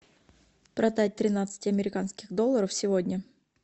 продать тринадцать американских долларов сегодня